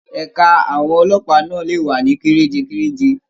Ẹ̀ka àwọn ọlọ́pàá náà lè wà ní kerejekereje.